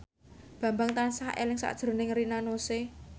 Bambang tansah eling sakjroning Rina Nose